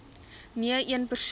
nee een persoon